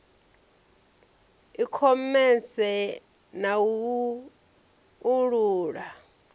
i khomese na u uula